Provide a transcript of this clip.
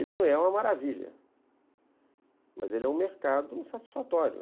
Ele não é uma maravilha, mas ele é um mercado satisfatório.